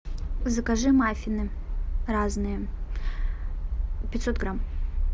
закажи маффины разные пятьсот грамм